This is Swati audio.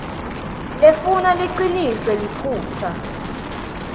lefuna liciniso liphutsa